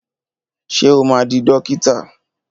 Ṣé o máa di dókítà?